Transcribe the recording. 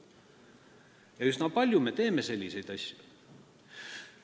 Me teeme üsna palju selliseid asju.